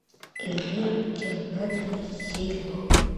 эльмира геннадьевна хейло